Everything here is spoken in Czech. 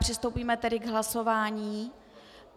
Přistoupíme tedy k hlasování.